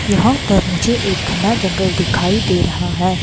यहां पर मुझे एक घना जंगल दिखाई दे रहा है।